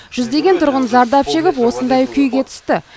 жүздеген тұрғын зардап шегіп осындай күйге түсті